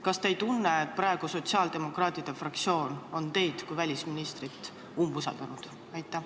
Kas te ei tunne, et praegu on sotsiaaldemokraatide fraktsioon teid kui välisministrit umbusaldanud?